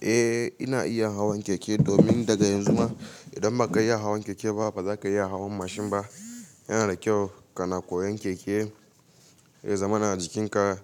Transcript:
Eh ina iya hawan keke domin daga yanzu ma idan ba ka iya hawan keke ba ba za ka iya hawan mashin ba. Yana da kyau ka na koyan keke, ya zamana jikinka